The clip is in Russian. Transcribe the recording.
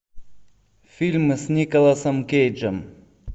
фильмы с николасом кейджем